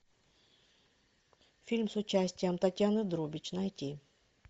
фильм с участием татьяны друбич найти